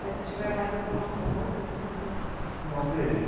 Mas se tiver mais alguma coisa que você... Não, veja.